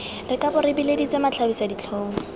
re kabo re bileditswe matlhabisaditlhong